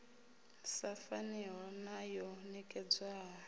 sa faniho na yo nekedzwaho